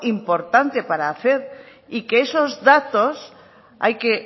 importante y que esos datos hay que